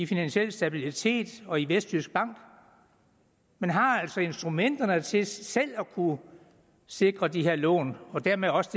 finansiel stabilitet og vestjysk bank man har altså instrumenterne til selv at kunne sikre de her lån og dermed også